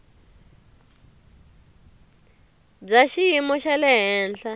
bya xiyimo xa le henhla